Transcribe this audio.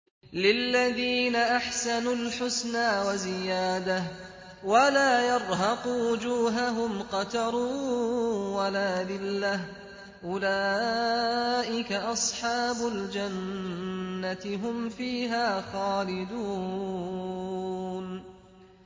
۞ لِّلَّذِينَ أَحْسَنُوا الْحُسْنَىٰ وَزِيَادَةٌ ۖ وَلَا يَرْهَقُ وُجُوهَهُمْ قَتَرٌ وَلَا ذِلَّةٌ ۚ أُولَٰئِكَ أَصْحَابُ الْجَنَّةِ ۖ هُمْ فِيهَا خَالِدُونَ